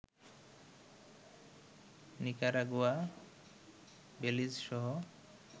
Nicaragua, Belize সহ